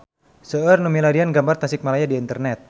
Seueur nu milarian gambar Tasikmalaya di internet